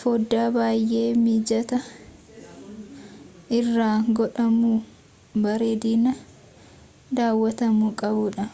foddaa baayee mijataa irra godhamuu bareedina daawatamuu qabudha